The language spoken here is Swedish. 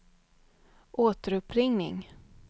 återuppringning